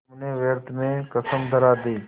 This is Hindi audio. तुमने व्यर्थ में कसम धरा दी